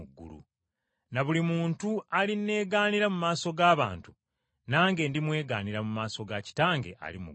Na buli muntu alinneegaanira mu maaso g’abantu, nange ndimwegaanira mu maaso ga Kitange ali mu ggulu.